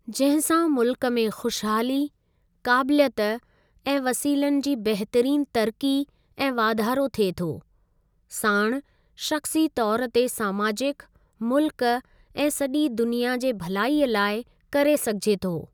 जंहिं सां मुल्क में खुशहाली, क़ाबिलियत ऐं वसीलनि जी बहितरीन तरकी ऐं वाधारो थिए थो, साणु शख़्सी तौर ते समाजिक, मुल्क ऐं सॼी दुनिया जे भलाईअ लाइ करे सघिजे थो।